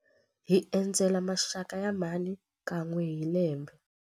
Hi endzela maxaka ya mhani kan'we hi lembe.